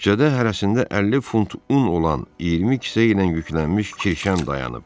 Küçədə hərəsində 50 funt un olan 20 kisə ilə yüklənmiş kirşən dayanıb.